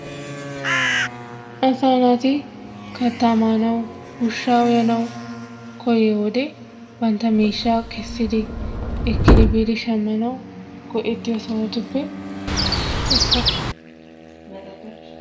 Asaa naati katta maanawu ushshaa uyanawu koyiyo wode bantta miishshaa kessidi ekkiri biidi shammanawu go"ettiyo sohotuppe issuwa.